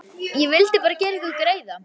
Ég vildi bara gera ykkur greiða.